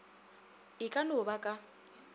e ka no ba ka